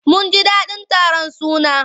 Mun ji daɗin taron sunan.